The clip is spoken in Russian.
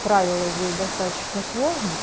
правила здесь достаточно сложно